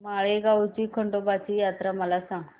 माळेगाव ची खंडोबाची यात्रा मला सांग